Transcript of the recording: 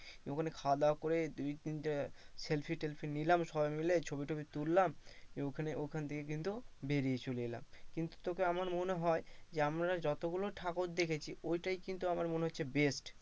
ওখানে খাওয়া দাওয়া করে দুই তিনটে সেলফিশ নিলাম সবাই মিলে ছবিটবি তুললাম দিয়ে ঐখান, ঐখান থেকে কিন্তু বেরিয়ে চলে এলাম। কিন্তু তোকে আমার মনে হয় আমরা যতগুলো ঠাকুর দেখেছি ঐ টাই কিন্তু আমার মনে হচ্ছে best.